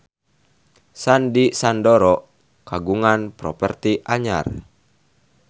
Sandy Sandoro kagungan properti anyar